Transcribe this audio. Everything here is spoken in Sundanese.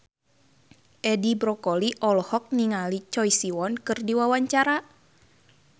Edi Brokoli olohok ningali Choi Siwon keur diwawancara